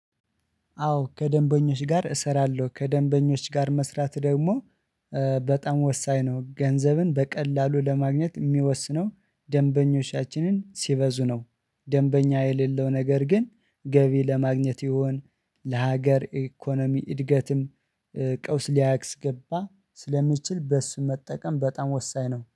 አዎ ከደንበኞች ጋር እሰራለሁ ከደንበኞች ጋር መስራት ደግሞ በጣም ወሳኝ ነው። ገንዘብን በቀላሉ ለማግኘት የሚወስነው ደንበኞቻችንን ሲበዙ ነው። ደንበኛ የሌለው ነገር ግን ገቢ ለማግኘት ይሁን ለሀገር ኢኮኖሚ እድገትም ቀውስ ሊያስ ገባ ስለሚችል በእሱ መጠቀም በጣም ወሳኝ ነው